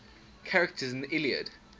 characters in the iliad